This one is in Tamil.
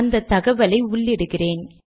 அந்த தகவலை உள்ளிடுகிறேன்